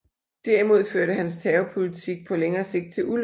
Derimod førte hans terrorpolitik på længere sigt til ulykker